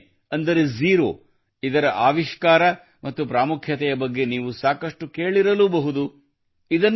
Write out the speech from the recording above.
ಸೊನ್ನೆ ಅಂದರೆ ಝೀರೊ ಇದರ ಆವಿಷ್ಕಾರ ಮತ್ತು ಪ್ರಾಮುಖ್ಯದ ಬಗ್ಗೆ ನೀವು ಸಾಕಷ್ಟು ಕೇಳಿರಲೂಬಹುದು